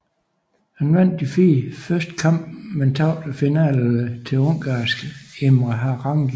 Han vandt de fire første kampe men tabte finalen til ungarske Imre Harangi